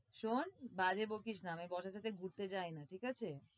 শোন বাজে বকিস না, আমি boss এর সাথে ঘুরতে যাই না ঠিক আছে।